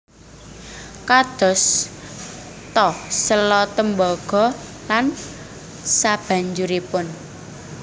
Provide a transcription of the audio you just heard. Kados ta séla tembaga lan sabanjuripun